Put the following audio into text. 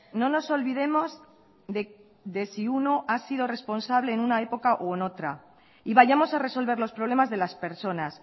no nos olvidemos de si uno ha sido responsable en una época o en otra y vayamos a resolver los problemas de las personas